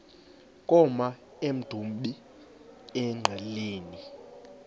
koma emdumbi engqeleni